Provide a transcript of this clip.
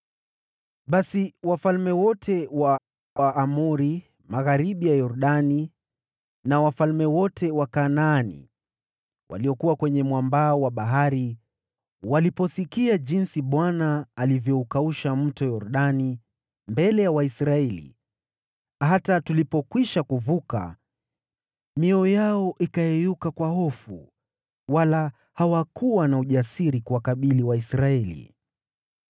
Basi wafalme wote wa Waamori magharibi ya Yordani na wafalme wote wa Kanaani waliokuwa kwenye pwani waliposikia jinsi Bwana alivyoukausha Mto Yordani mbele ya Waisraeli hata tulipokwisha kuvuka, mioyo yao ikayeyuka kwa hofu, wala hawakuwa na ujasiri kuwakabili Waisraeli.